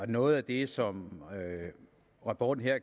noget af det som rapporten